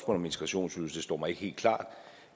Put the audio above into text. om integrationsydelse står mig ikke helt klart